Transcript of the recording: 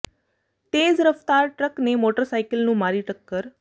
ਤੇਜ਼ ਰਫ਼ਤਾਰ ਟਰੱਕ ਨੇ ਮੋਟਰ ਸਾਈਕਲ ਨੂੰ ਮਾਰੀ ਟੱਕਰ